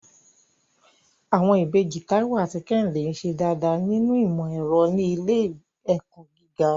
Àwọn ìbejì Táíwò àti Kẹ́hìndé ń ṣe dáadáa nínú ìmọ̀ ẹ̀rọ ní ilé ẹ̀kọ́ gíga.